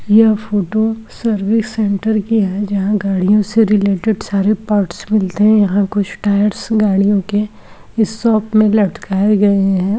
यह photo service centre के है जहां गाड़ियों से रिलेटेड सारे पार्सल मिलते है। यहाँ कुछ टायर्स कुछ गाड़ियों के इस शॉप में लटकाये गए है।